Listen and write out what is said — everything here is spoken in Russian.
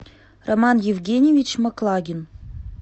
роман евгеньевич маклагин